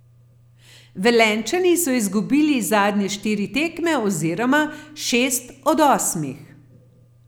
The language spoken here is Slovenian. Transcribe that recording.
Velenjčani so izgubili zadnje štiri tekme oziroma šest od osmih.